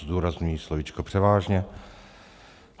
Zdůrazňuji slovíčko převážně.